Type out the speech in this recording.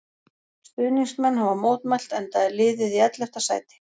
Stuðningsmenn hafa mótmælt enda er liðið í ellefta sæti.